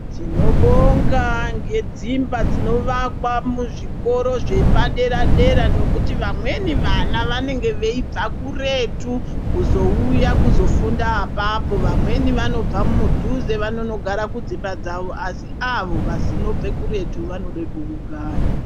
Tinobonga ngedzimba dzinovakwa muzvikoro zvepadera-dera, ngekuti vamweni vana vanenge veibva kuretu kuzouya kuzofunda apapo. Vamweni vanobva mudhuze vanondogara kudzimba dzavo, asi avo vanobve kuretu vanode pekugara.